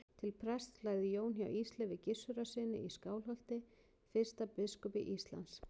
Til prests lærði Jón hjá Ísleifi Gissurarsyni í Skálholti, fyrsta biskupi Íslands.